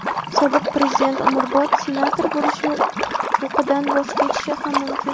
Sobiq Prezident umrbod senator bo‘lish huquqidan voz kechishi ham mumkin.